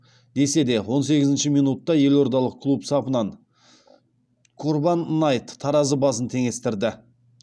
десе де он сегізінші минутта елордалық клуб сапынан корбан найт таразы басын теңестірді